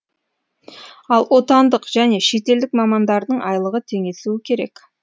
ал отандық және шетелдік мамандардың айлығы теңесуі керек